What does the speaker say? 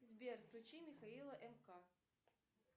сбер включи михаила мк